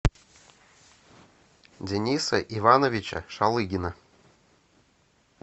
дениса ивановича шалыгина